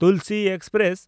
Tulsi express